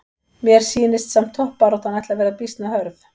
Mér sýnist samt toppbaráttan ætli að vera býsna hörð!